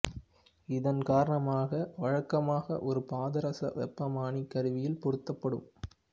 இதன் காரணமாக வழக்கமாக ஒரு பாதரச வெப்பமானி கருவியில் பொருத்தப்படும்